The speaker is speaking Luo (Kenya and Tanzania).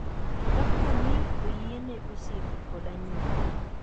Kaponi oyiene osiepe kod anyuola ,